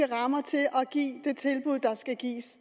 rammer til at give det tilbud der skal gives